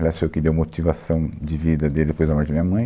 Aliás, foi o que deu motivação de vida dele depois da morte de minha mãe.